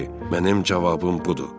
Mənim cavabım budur.